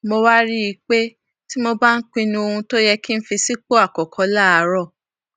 mo wá rí i pé tí mo bá ń pinnu ohun tó yẹ kí n fi sípò àkókó láàárò